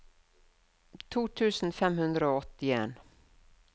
to tusen fem hundre og åttien